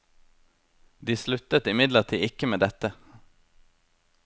De sluttet imidlertid ikke med dette.